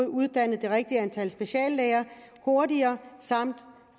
uddannet det rigtige antal speciallæger hurtigere samt